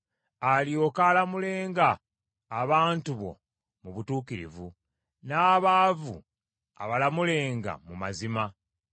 alyoke alamulenga abantu bo mu butuukirivu, n’abaavu abalamulenga mu mazima.